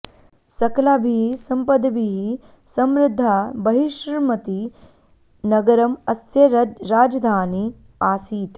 सकलाभिः सम्पद्भिः समृद्धा बहिर्ष्मती नगरम् अस्य रजधानी आसीत्